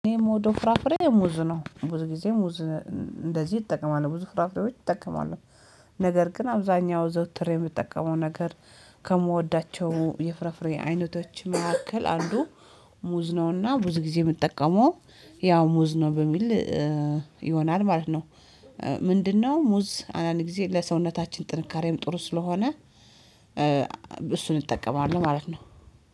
እኔ የምወደው ፍራፍሬ ሙዝ ነው ብዙ ጊዜ ሙዝ እንደዚህ እጠቀማለሁ ብዙ ፍራፍሬዎች እጠቀማለሁ ነገር ግን አብዛኛው ዘውትር የምትጠቀመው ነገር ከምወዳቸው የፍራፍሬ አይነቶች መካከል አንዱ ሙዝ ነውና ብዙ ጊዜ የምጠቀመው ያው ሙዝ ነው በሚል ይሆናል ማለት ነው። ምንድነው? ሙዝ አንዳንድ ጊዜ ለሰውነታችን ጥንካሬም ጥሩ ስለሆነ እሱን እጠቀማለሁ ማለት ነው።